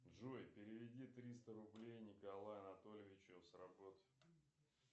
джой переведи триста рублей николаю анатольевичу с работы